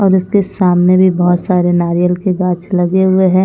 और उसके सामने भी बहोत सारे नारियल के गाछ लगे हुए हैं।